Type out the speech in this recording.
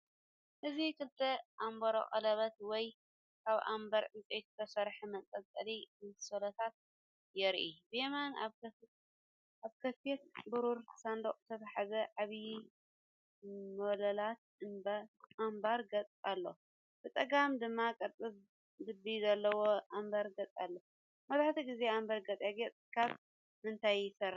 እዚ ክልተ ኣምበር ቀለቤት ወይ ካብ ኣምበር ዕንጨይቲ ዝተሰርሑ መንጠልጠሊ ኣንሶላታት የርኢ። ብየማን ኣብ ክፉት ብሩር ሳንዱቕ ዝተታሕዘ ዓቢ ሞላሊት ኣምበር ጌጽ ኣሎ። ብጸጋም ድማ ቅርጺ ልቢ ዘለዎ ኣምበር ጌጽ ኣሎ። መብዛሕትኡ ግዜ ኣምበር ጌጣጌጥ ካብ ምንታይ ይስራሕ?